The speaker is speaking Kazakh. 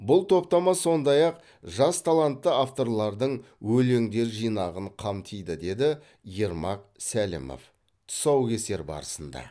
бұл топтама сондай ақ жас талантты авторлардың өлеңдер жинағын қамтиды деді ермак сәлімов тұсаукесер барысында